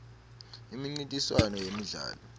imincintiswano yemidlalo